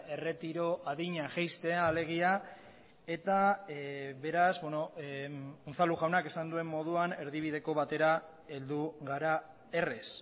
erretiro adina jaistea alegia eta beraz unzalu jaunak esan duen moduan erdibideko batera heldu gara errez